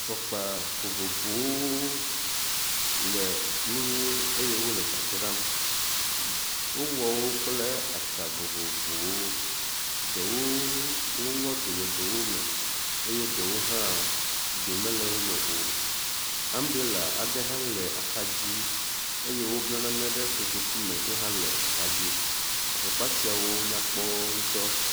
Fɔkpa vovovowo le nu eye wo le dzadzram. Wowɔwo kple atsa vovovowo. Ɖewo woŋɔdo le eɖewo me eye eɖewo hã do mele wo me o. ambrela aɖe hã le axa dzi eye wobble nane ɖe kotoku me yi hã le axa dzi. Afɔkpa siawo nyakpɔ ŋutɔ.